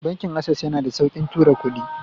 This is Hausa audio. Banki access yana da saukin tura kudi.